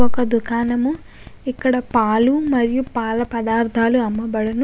ఒక దుకాణము ఇక్కడ పాలు మరియు పాల పదార్ధాలు అమ్మబడును.